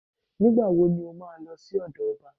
Nígbà wo ni ó máa lọ sí ọ̀dọ̀ ọba